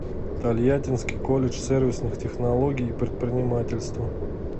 тольяттинский колледж сервисных технологий и предпринимательства